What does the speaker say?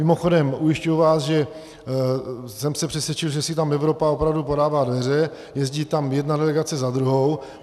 Mimochodem ujišťuji vás, že jsem se přesvědčil, že si tam Evropa opravdu podává dveře, jezdí tam jedna delegace za druhou.